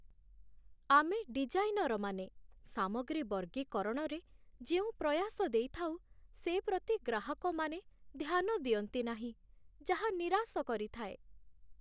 ଆମେ ଡିଜାଇନରମାନେ ସାମଗ୍ରୀ ବର୍ଗୀକରଣରେ ଯେଉଁ ପ୍ରୟାସ ଦେଇଥାଉ, ସେ ପ୍ରତି ଗ୍ରାହକମାନେ ଧ୍ୟାନ ଦିଅନ୍ତି ନାହିଁ, ଯାହା ନିରାଶ କରିଥାଏ।